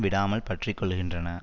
விடாமல் பற்றி கொள்கின்றன